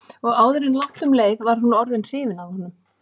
Og áður en langt um leið var hún orðin hrifin af honum.